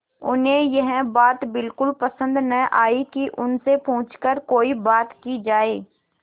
उन्हें यह बात बिल्कुल पसन्द न आई कि उन से छुपकर कोई बात की जाए